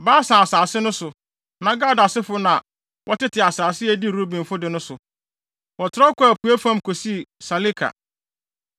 Basan asase so no, na Gad asefo na wɔtete asase a edi Rubenfo de no so. Wɔtrɛw kɔɔ apuei fam kosii Saleka.